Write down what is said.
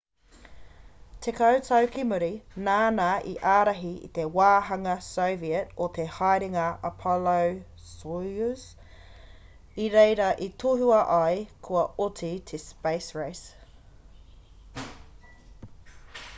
tekau tau ki muri nāna i ārahi te wāhanga soviet o te haerenga apollo-soyuz i reira i tohua ai kua oti te space race